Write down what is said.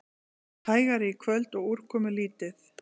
Hægari í kvöld og úrkomulítið